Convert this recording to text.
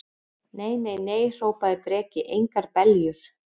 Nei, nei, nei, hrópaði Breki, engar beljur.